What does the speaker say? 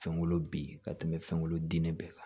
Fɛn wolo bin ka tɛmɛ fɛnkolo dingɛ bɛɛ kan